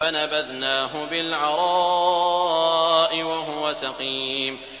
۞ فَنَبَذْنَاهُ بِالْعَرَاءِ وَهُوَ سَقِيمٌ